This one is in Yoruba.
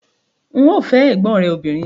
N óò fẹ́ ẹ̀gbọ́n rẹ obìnrin